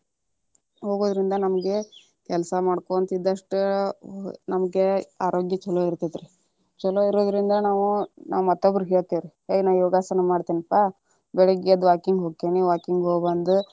ಹೋಗೋದ್ರಿಂದ ನಮಗೆ ಕೆಲಸಾ ಮಾಡ್ಕೊಂತಿದ್ದಷ್ಟು ನಮಗೇ ಆರೋಗ್ಯ ಚೋಲೊ ಇರ್ತೇತರಿ, ಚೊಲೋ ಇರೋದ್ರಿಂದ ನಾವ ಮತ್ತೊಬ್ಬರಿಗೇ ಹೇಳ್ತೇವಿ ರೀ ಏ ನಾ ಯೋಗಾಸನ ಮಾಡ್ತೆನೀಪಾ ಬೆಳಿಗ್ಗೆ ಎದ್ದ walking ಹೋಕ್ಕಿನಿ walking ಹೋಗ ಬಂದ.